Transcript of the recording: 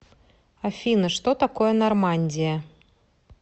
афина что такое нормандия